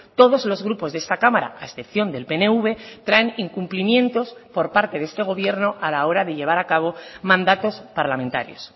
todos los grupos de esta cámara a excepción del pnv traen incumplimientos por parte de este gobierno a la hora de llevar a cabo mandatos parlamentarios